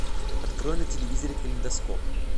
открой на телевизоре калейдоскоп